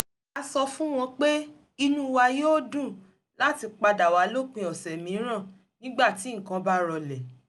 a sọ fún wọn pé inú wa yóò dùn láti padà wá lópin ọ̀sẹ̀ mìíràn nígbà tí nǹkan bá rọlẹ̀